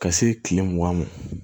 Ka se kile mugan ma